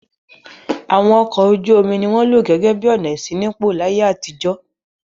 Àwọn ọkọ̀ ojú-omi ni wọ́n lò gẹ́gẹ́ bí ọ̀nà ìṣínípò láyé àtijọ́.